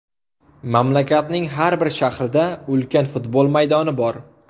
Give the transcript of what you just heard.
Mamlakatning har bir shahrida ulkan futbol maydoni bor.